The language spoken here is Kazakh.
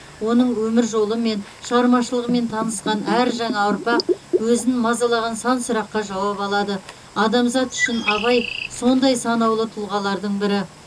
оның өмір жолымен шығармашылығымен танысқан әр жаңа ұрпақ өзін мазалаған сан сұраққа жауап алады адамзат үшін абай сондай санаулы тұлғалардың бірі